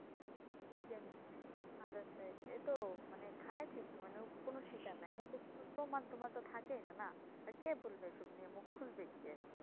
কে নিচ্ছে other side এ তো খায় ঠিক যে মানে কোনো স্বীকার নাই প্রমান টমান তো মানে থাকে না কে বলবে এইসব নিয়ে মুখ খুলবে কে,